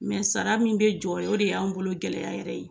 sara min bɛ jɔ o de y'anw bolo gɛlɛya yɛrɛ ye